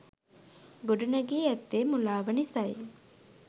ගොඩනැඟී ඇත්තේ මුලාව නිස යි.